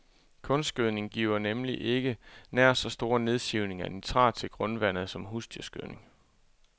Kunstgødning giver nemlig ikke nær så stor nedsivning af nitrat til grundvandet som husdyrgødning.